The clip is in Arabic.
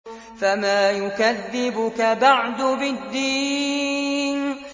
فَمَا يُكَذِّبُكَ بَعْدُ بِالدِّينِ